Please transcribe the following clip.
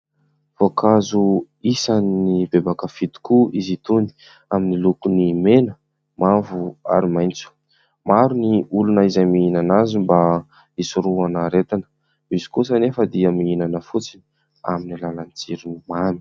Voankazo isan'ny betsaka mpakafy tokoa izy itony amin'ny lokon'ny mena, mavo ary maitso. Maro ny olona izay mihinana azy mba isorohana aretina. Misy kosa anefa dia mihinana fotsiny amin'ny alalan'ny tsiron'ny mamy.